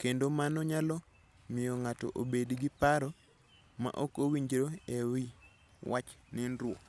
kendo mano nyalo miyo ng'ato obed gi paro ma ok owinjore e wi wach nindruok.